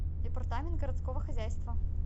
департамент городского хозяйства